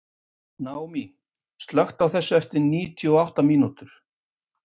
Naomí, slökktu á þessu eftir níutíu og átta mínútur.